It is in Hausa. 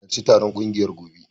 Dole ka harci taron kungiyar gobe.